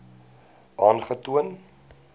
aangetoon